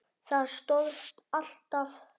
Það stóðst alltaf.